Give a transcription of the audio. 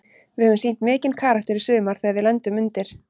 Við höfum sýnt mikinn karakter í sumar þegar við lendum undir.